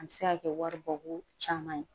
A bɛ se ka kɛ wari bɔ ko caman ye